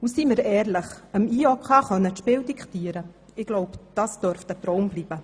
Und seien wir ehrlich: dem IOC das Spiel diktieren zu können, dürfte wohl ein Traum sein.